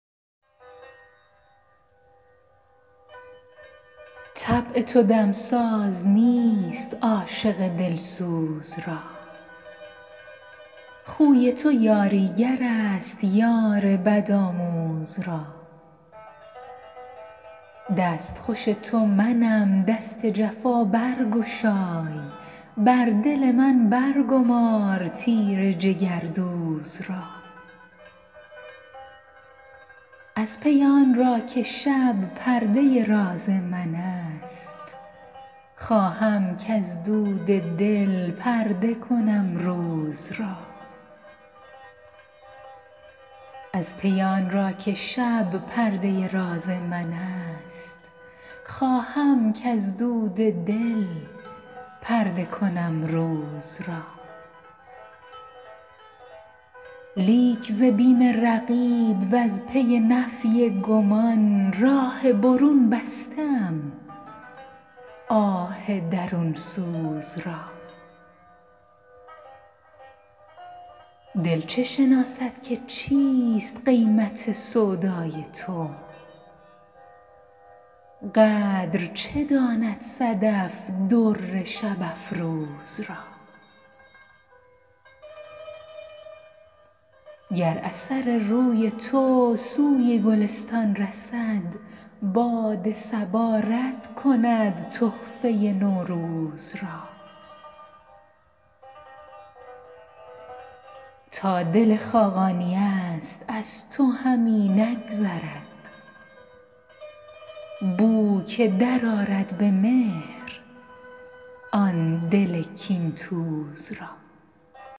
طبع تو دم ساز نیست عاشق دل سوز را خوی تو یاری گر است یار بدآموز را دست خوش تو منم دست جفا برگشای بر دل من برگمار تیر جگردوز را از پی آن را که شب پرده راز من است خواهم کز دود دل پرده کنم روز را لیک ز بیم رقیب وز پی نفی گمان راه برون بسته ام آه درون سوز را دل چه شناسد که چیست قیمت سودای تو قدر چه داند صدف در شب افروز را گر اثر روی تو سوی گلستان رسد باد صبا رد کند تحفه نوروز را تا دل خاقانی است از تو همی نگذرد بو که درآرد به مهر آن دل کین توز را